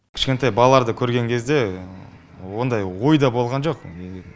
кішкентай балаларды көрген кезде ондай ойда болған жоқ